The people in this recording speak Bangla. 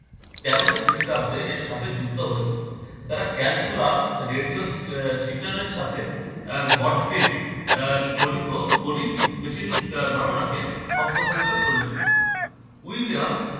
তেরশো খ্রিস্টাব্দে এর সাথে যুক্ত হয়েছিল। তারা calculus radio si~ আহ signal এর সাথে আহ আহ করিত গণিত machine ধারণাকে সম্প্রসারিত করেছিল। উইলিয়াম